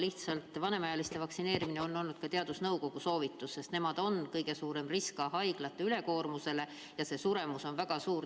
Lihtsalt vanemaealiste vaktsineerimine on olnud teadusnõukoja soovitus, sest nemad on kõige suurem risk ka haiglate ülekoormusele ja suremus on väga suur.